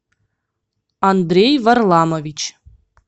андрей варламович